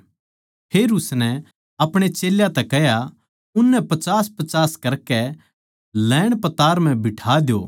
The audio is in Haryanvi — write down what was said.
फेर उसनै अपणे चेल्यां तै कह्या उननै पचासपचास करकै लैणपतार म्ह बिठा द्यो